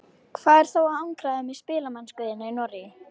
Hvað er þá að angra þig með spilamennsku þína í Noregi?